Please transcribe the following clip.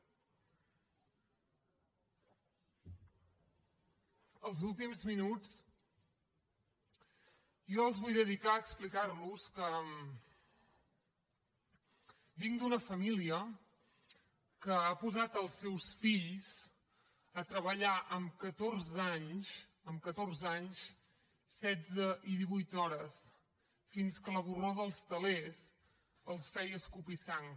els últims minuts jo els vull dedicar a explicar los que vinc d’una família que ha posat els seus fills a treballar amb catorze anys amb catorze anys setze i divuit hores fins que la borró dels telers els feia escopir sang